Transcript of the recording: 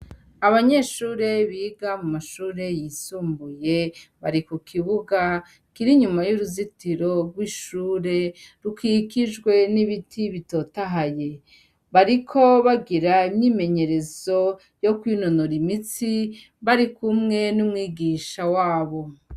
Abanyeshure biga mu mashure yisumbuye bari ku kibuga kira inyuma y'uruzitiro rw'ishure rukikijwe n'ibiti bitotahaye bariko bagira imyimenyerezo yo kw'inonora imitsi bari kumwe n'umwigisha wabo.